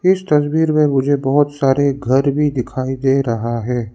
इस तस्वीर में मुझे बहुत सारे घर भी दिखाई दे रहा है।